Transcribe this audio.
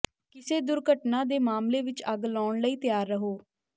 ਕਿਸੇ ਦੁਰਘਟਨਾ ਦੇ ਮਾਮਲੇ ਵਿੱਚ ਅੱਗ ਲਾਉਣ ਲਈ ਤਿਆਰ ਰਹੋ